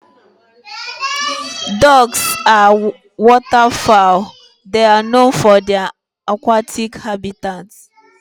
Ducks are waterfowl, They are known for their aquatic habitats